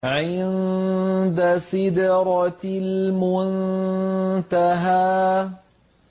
عِندَ سِدْرَةِ الْمُنتَهَىٰ